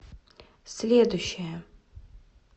следующая